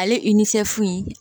Ale i nisɔn funu